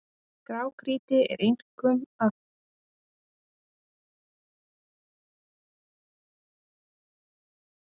Grágrýti er einkum að finna í hraunlögum, sem runnin eru á hlýskeiðum ísaldarinnar.